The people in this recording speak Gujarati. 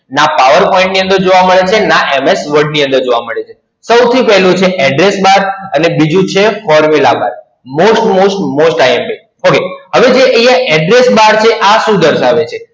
ના PowerPoint ની અંદર જોવા મળે છે ના MS Word ની અંદર જોવા મળે છે. સૌથી પહેલું છે Address Bar અને બીજું છે Formula BarMost most most IMP Okay હવે જે અહિયાં Address Bar છે આ શું દર્શાવે છે?